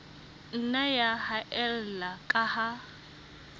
nna ya haella ka ha